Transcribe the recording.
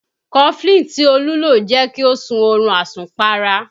Cofflin tí olú jẹ́ kí ó sún oorun asùn para